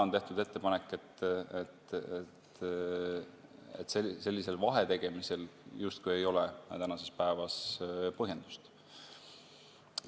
On tehtud ettepanek, et sellisel vahetegemisel justkui ei ole tänasel päeval põhjendust.